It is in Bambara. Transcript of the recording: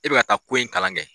E bɛ ka taa ko in kalan kɛ.